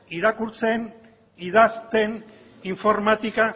irakurtzen idazten informatika